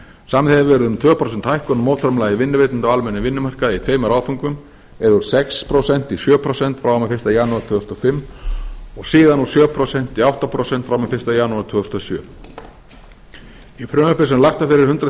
samið hefur verið um tvö prósent hækkun á mótframlagi vinnuveitenda á almennum vinnumarkaði í tveimur áföngum eða úr sex prósent í sjö prósent frá og með fyrsta janúar og síðan úr sjö prósent í átta prósent frá og með fyrsta janúar tvö þúsund og sjö í frumvarpi sem lagt var fyrir hundrað